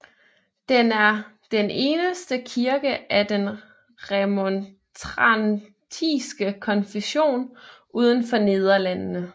Den er den eneste kirke af den remontrantiske konfession uden for Nederlandene